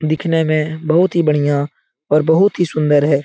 दिखने में बहुत ही बढ़िया और बहुत ही सुंदर है।